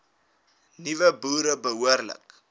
nuwe boere behoorlik